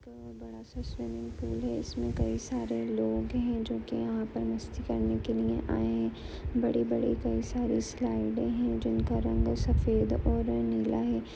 एक बड़ा सा स्विमिंग पूल है इस में कई सारे लोग है जो की यहाँ पर मस्ती करने के लिए आए है बड़े बड़े कई सारी स्लाइडें है जिनका रंग सफेद और नीला है।